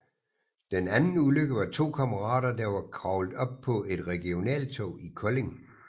Den anden ulykke var to kammerater der var kravlet op på et regionaltog i Kolding